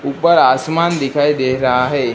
ऊपर आसमान दिखाई दे रहा है।